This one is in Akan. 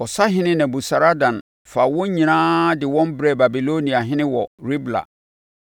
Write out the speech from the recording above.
Ɔsahene Nebusaradan faa wɔn nyinaa de wɔn brɛɛ Babiloniahene wɔ Ribla.